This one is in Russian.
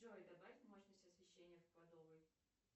джой добавь мощность освещения в кладовой